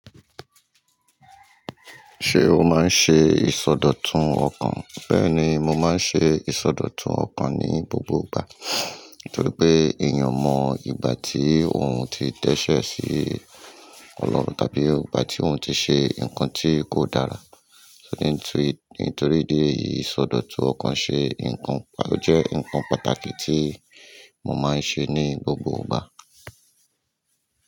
Ṣé o máa ń ṣe ìsọdọ̀tun ọkàn? Bẹ́ẹ̀ni, mo máa ń ṣe ìsọdọ̀tun ọkàn ní gbogbo ìgbà. Nítorí pé èèyàn mọ ìgbà tí òun ti dẹ́sẹ̀ sí Ọlọ́run tàbí ìgbà tí òun ti ṣe nǹkan tí kò dára. Nítorí idi eyìí ìsọdọ̀tun ọkàn ṣe nǹkan, ó jẹ́ nǹkan pàtàkì tí mo máa ń ṣe ní gbogbo ìgbà.